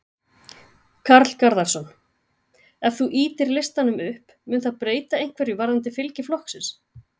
Karl Garðarsson: Ef þú ýtir listanum upp, mun það breyta einhverju varðandi fylgi flokksins?